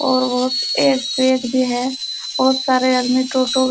बहुत तार के गट्टे पड़े हुए है और यहाँ पर --